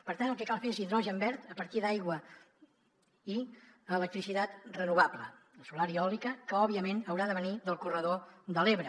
per tant el que cal fer és hidrogen verd a partir d’aigua i electricitat renovable la solar i eòlica que òbviament haurà de venir del corredor de l’ebre